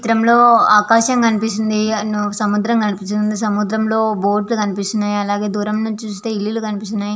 ఈ చిత్రం లో ఆకాశం కనిపిస్తూ వుంది సముద్రం కనిపిస్తూ వుంది సముద్రం లో బోటు లు వున్నాయ్ అలాగే దూరం నుంచి చుస్తే ఇల్లు కనిపిస్తునై.